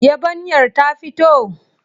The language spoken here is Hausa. Yabanyar ta fito?